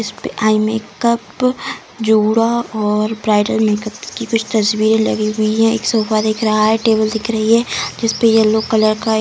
इसपे eye makeup जूड़ा और ब्राइडल मेकअप की कुछ तस्वीर लगी हुई है एक सोफा दिख रहा है टेबल दिख रही है जिसपे येल्लो कलर का --